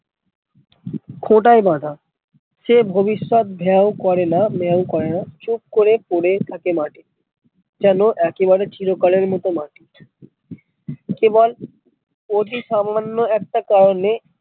খোঁটায় বাঁধা সে ভবিষ্যৎ ভেউ করে না মেউ করে না চুপ করে পরে থাকে মাঠে যেনো একে বারে চিরকালের মতো কেবল অতি সামান্য একটা কারণে